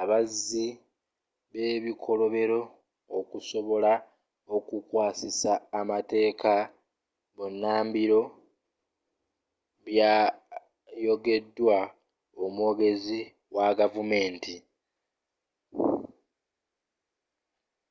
abazzi bebikolobero okusobola okukwasisa amateeka bunambiro byayogedwa omwogezi wa gavumenti.